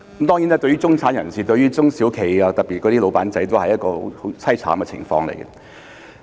當然，中產人士和中小企，特別是小老闆，都處於很淒慘的情況。